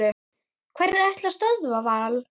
Hverjir ætla að stöðva Val?